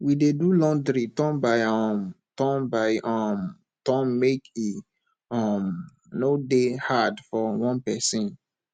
we dey do laundry turn by um turn by um turn make e um no dey hard for one pesin